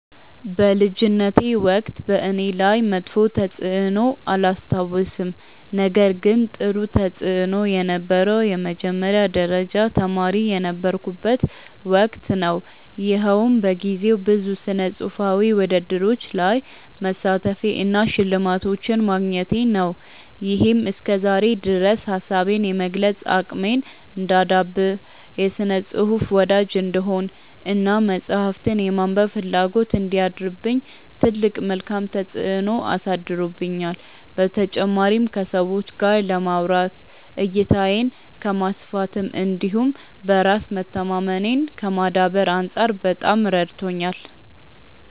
በልጅነቴ ወቅት በእኔ ላይ መጥፎ ተፅዕኖ አላስታውስም ነገር ግን ጥሩ ተፅእኖ የነበረው የመጀመሪያ ደረጃ ተማሪ የነበርኩበት ወቅት ነው። ይኸውም በጊዜው ብዙ ስነፅሁፋዊ ውድድሮች ላይ መሳተፌ እና ሽልማቶችን ማግኘቴ ነው። ይሄም እስከዛሬ ድረስ ሀሳቤን የመግለፅ አቅሜን እንዳዳብር፣ የስነ ፅሁፍ ወዳጅ እንድሆን እና መፅሀፍትን የማንበብ ፍላጎት እንዲያድርብኝ ትልቅ መልካም ተፅዕኖ አሳድሮብኛል። በተጨማሪም ከሰዎች ጋር ለማውራት፣ እይታዬን ከማስፋት እንዲሁም በራስ መተማመኔን ከማዳበር አንፃር በጣም ረድቶኛል።